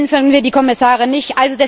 Wählen können wir die Kommissare nicht.